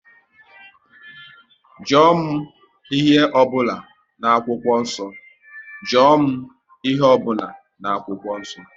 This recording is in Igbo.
Jụọ m ihe ọ bụla n'akwụkwọ nsọ!